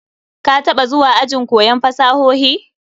Ka taba zuwa ajin koyon fasahohi?